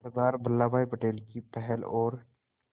सरदार Vallabhbhai Patel की पहल और